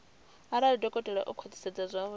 arali dokotela o khwathisedza zwauri